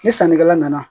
Ni sannikɛla nana